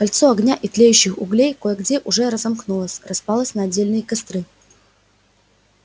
кольцо огня и тлеющих углей кое где уже разомкнулось распалось на отдельные костры